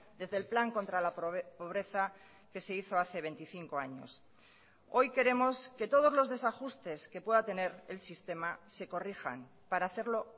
desde el plan contra la pobreza que se hizo hace veinticinco años hoy queremos que todos los desajustes que pueda tener el sistema se corrijan para hacerlo